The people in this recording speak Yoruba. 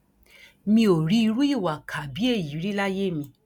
mi ò rí irú ìwà ìkà bíi èyí rí láyé mi